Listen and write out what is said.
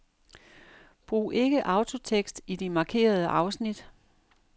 Brug ikke autotekst i de markerede afsnit.